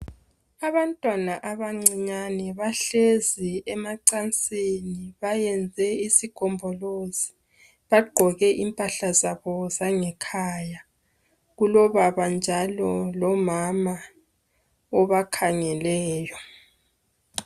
Abantwana abancinyane bahlezi emacansini bayenze isigombolozi bagqoke impahla zabo zangekhaya kulobaba njalo lomama obakhangeleyo.